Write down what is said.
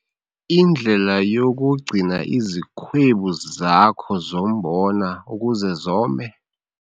Indlela yokugcina izikhwebu zakho zombona ukuze zome?